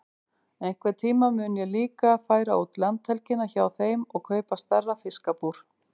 Einhvern tíma mun ég líka færa út landhelgina hjá þeim og kaupa stærra fiskabúr.